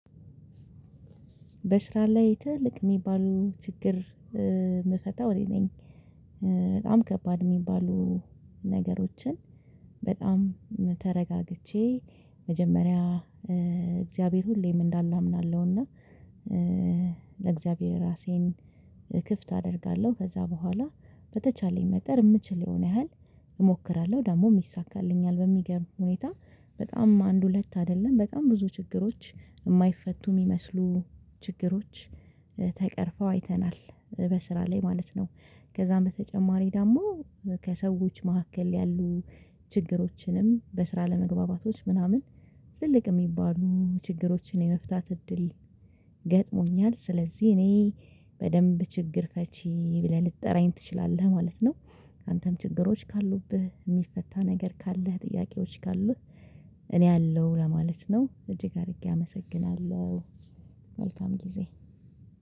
በስራ ላይ ትላልቅ የሚባሉ ችግር የምፈታው እኔ ነኝ። በጣም ከባድ የሚባሉ ነገሮችን በጣም ተረጋግቼ መጀመሪያ እግዚአብሔር ሁሌም እንዳለ አምናለሁና። ለእግዚአብሔር ራሴን ክፍት አደርጋለሁ ከዛ በኋላ በተቻለኝ መጠር የምችለውን ያህል እሞክራለሁ። ደግሞ የሚሳካልኝ በሚገርም ሁኔታ በጣም አንድ ሁለት አይደለም በጣም ብዙ ችግሮች የማይፈቱ የሚመስሉ ችግሮች ተቀርፈው አይተናል በስራ ላይ ማለት ነው። ከዛም በተጨማሪ ደግሞ ከሰዎች መካከል ያሉ ችግሮችንም በስራ ለመግባባቶች ምናምን ትልቅ የሚባሉ ችግሮችን የመፍታት እድል ገጥሞኛል። ስለዚህ እኔ በደንብ ችግር ፈቺ ብለህ ልትጠራኝ ትችላለህ ማለት ነው። አንተም ችግሮች ካሉብህ የሚፈታ ነገር ካለህ ጥያቄዎች ካሉት እኔ አለው ለማለት ነው እጅግ አድርጌ አመሰግናለሁ። መልካም ጊዜ